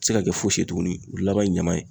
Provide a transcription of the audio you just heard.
tɛ se ka kɛ fosi ye tuguni , o laban ye ɲaman ye.